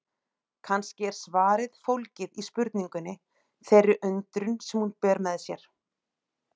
Kannski er svarið fólgið í spurningunni, þeirri undrun sem hún ber með sér.